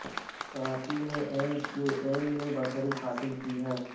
کراچی میں M Q M نے کو برتری حاصل ہے